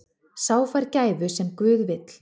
Sá fær gæfu sem guð vill.